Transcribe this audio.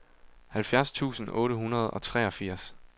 halvfjerds tusind otte hundrede og treogfirs